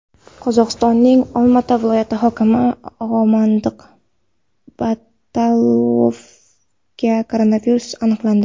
Qozog‘istonning Olmaota viloyati hokimi Omondiq Batalovda koronavirus aniqlandi.